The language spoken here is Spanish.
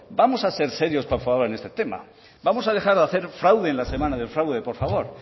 vamos a ser serios por favor en este tema vamos a dejar de hacer fraude en la semana del fraude por favor